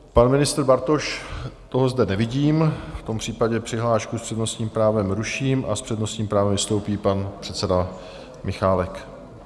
Pan ministr Bartoš - toho zde nevidím, v tom případě přihlášku s přednostním právem ruším a s přednostním právem vystoupí pan předseda Michálek.